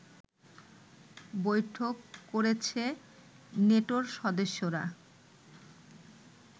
বৈঠক করেছে নেটোর সদস্যরা